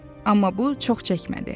Amma bu çox çəkmədi.